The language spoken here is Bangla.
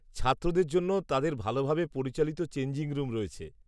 ছাত্রদের জন্য তাদের ভালভাবে পরিচালিত চেঞ্জিং রুম রয়েছে।